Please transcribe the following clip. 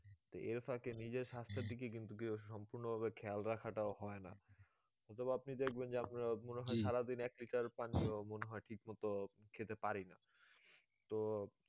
তো এর ফাঁকে নিজের স্বাস্থ্যের দিকে কিন্তু সম্পূর্ণ ভাবে খেয়াল রাখাটাও হয়ে না অথবা আপনি দেখবেন যে আপনার মনে হয়ে সারাদিন এক লিটার পানিও মনে হয়ে ঠিক মতো খেতে পারি না তো